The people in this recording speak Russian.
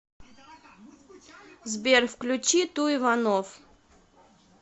сбер включи ту иванов